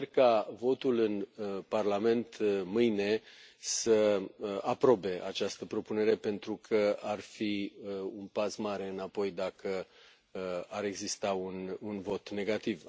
Sper ca votul în Parlament mâine să aprobe această propunere pentru că ar fi un pas mare înapoi dacă ar exista un vot negativ.